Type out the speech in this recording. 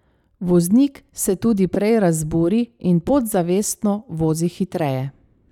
Voznik se tudi prej razburi in podzavestno vozi hitreje.